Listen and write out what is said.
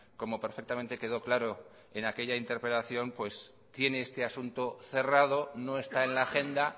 como perfectamente quedó claro en aquella interpelación tiene este asunto cerrado no está en la agenda